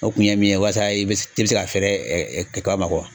O kun ye min ye walasa i be se ka fɛrɛ kaba ma